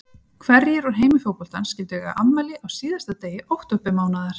Hverjir úr heimi fótboltans skyldu eiga afmæli á síðasta degi októbermánaðar?